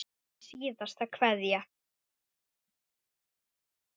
Þín síðasta kveðja.